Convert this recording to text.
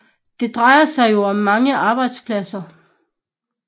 Det drejede sig jo om mange arbejdspladser